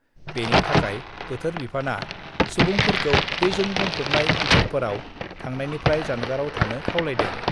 बेनि थाखाय बोथोर बिफाना सुबुंफोरखौं दैजों बुंफबनाय ओन्सोलफोराव थांनायनिफ्राय जानगाराव थानो खावलायदों।